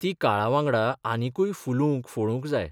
ती काळावांगडा आनिकूय फुलूंक फळूक जाय.